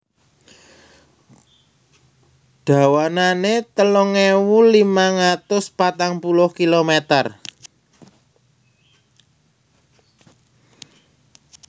Dawanané telung ewu limang atus patang puluh kilomèter